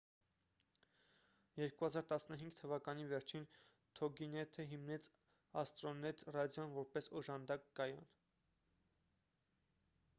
2015 թվականի վերջին թոգինեթը հիմնեց աստրոնեթ ռադիոն որպես օժանդակ կայան